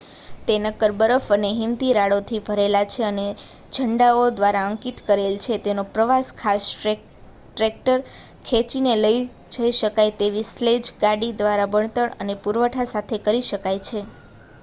તે નક્કર બરફ અને હિમતીરાડો થી ભરેલ છે અને તેને ઝંડાઓ દ્વારા અંકિત કરેલ છે તેનો પ્રવાસ ખાસ ટ્રેક્ટર ખેંચીને લઈ જઈ શકાય તેવી સ્લેજ ગાડી દ્વારા બળતણ અને પુરવઠા સાથે કરી શકાય છે